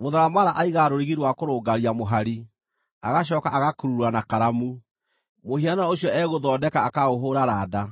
Mũtharamara aigaga rũrigi rwa kũrũngaria mũhari, agacooka agakurura na karamu; mũhianano ũcio egũthondeka akaũhũũra randa,